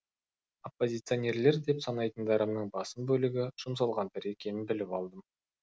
оппозиционерлер деп санайтындарымның басым бөлігі жұмсалғандар екенін біліп алдым